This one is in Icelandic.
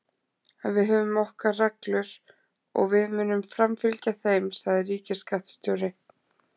En við höfum okkar reglur og við munum framfylgja þeim, sagði ríkisskattstjóri